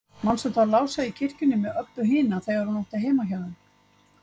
Manstu þá Lása í kirkjunni með Öbbu hina, þegar hún átti heima hjá þeim?